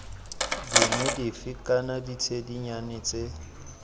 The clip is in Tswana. dingwe dife kana ditshedinyana tse